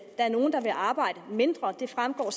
er nogle der vil arbejde mindre det fremgår